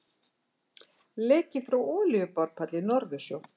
Leki frá olíuborpalli í Norðursjó.